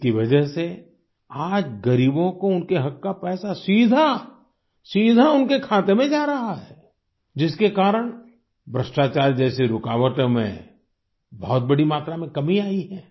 इसकी वजह से आज गरीबों को उनके हक का पैसा सीधा सीधा उनके खाते में जा रहा है जिसके कारण भ्रष्टाचार जैसे रुकावटों में बहुत बड़ी मात्रा में कमी आई है